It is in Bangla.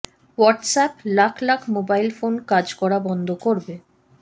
হোয়াটসঅ্যাপ লাখ লাখ মোবাইল ফোনে কাজ করা বন্ধ করবে